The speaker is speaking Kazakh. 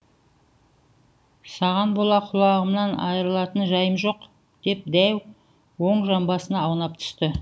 саған бола құлағымнан айырылатын жайым жоқ деп дәу оң жамбасына аунап түсті